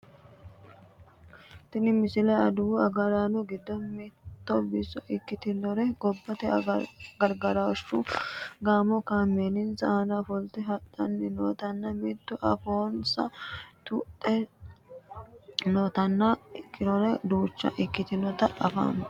tini misile adawu agaraano giddo mitto biso ikkitinori gobbate gargarooshshu gaamo kameelinsa aana ofolte hadhanni nootanna mitu afoonsa tuidhe nootanna kiironsa duucha ikkitinota anfanni